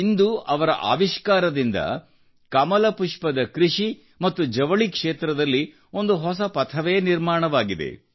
ಇಂದು ಅವರ ಆವಿಷ್ಕಾರದಿಂದ ಕಮಲಪುಷ್ಪದ ಕೃಷಿ ಮತ್ತು ಜವಳಿ ಕ್ಷೇತ್ರದಲ್ಲಿ ಒಂದು ಹೊಸ ಪಥವೇ ನಿರ್ಮಾಣವಾಗಿದೆ